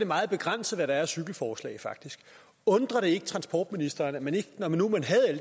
meget begrænset hvad der er af cykelforslag undrer det ikke transportministeren at man ikke når man nu